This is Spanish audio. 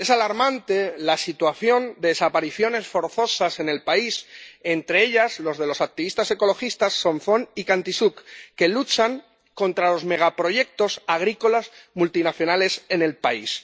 Es alarmante la situación de desapariciones forzosas en el país, entre ellas las de los activistas ecologistas Somphone y Khantisouk, que luchan contra los megaproyectos agrícolas multinacionales en el país.